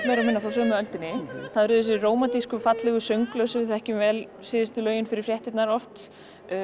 meira og minna frá sömu öldinni það er þessi rómantísku fallegu sönglög sem við þekkjum vel síðustu lög fyrir fréttirnar oft